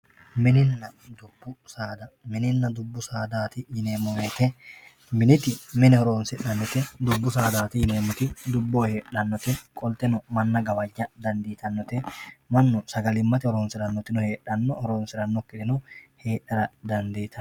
Mininna dubbu saada, mininna dubbu saadati yineemmo woyte miniti mine horonsi'nannite, dubbu saadati yineemmoti dubboho heedhanote qolteno manna gawaja dandiittanote, mannu sagalimate horonsiranotino heedhano horonsiranokkitino heera dandiittano.